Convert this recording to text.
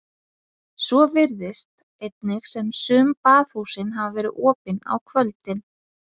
Svo virðist einnig sem sum baðhúsin hafi verið opin á kvöldin.